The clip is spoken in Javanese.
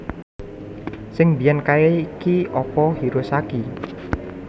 Sing mbiyen kae ki opo Hirosaki